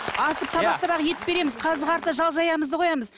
асып табақ табақ ет береміз қазы қарта жал жаямызды қоямыз